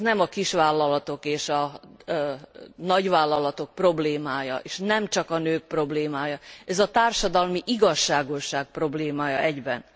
És ez nem a kisvállalatok és a nagyvállalatok problémája és nemcsak a nők problémája, ez a társadalmi igazságosság problémája egyben.